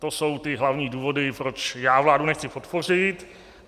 To jsou ty hlavní důvody, proč já vládu nechci podpořit.